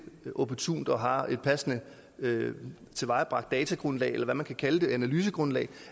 opportunt og har et passende tilvejebragt datagrundlag eller hvad man kan kalde det analysegrundlag